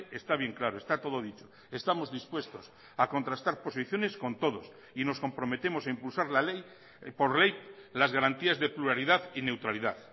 está bien claro está todo dicho estamos dispuestos a contrastar posiciones con todos y nos comprometemos a impulsar la ley por ley las garantías de pluralidad y neutralidad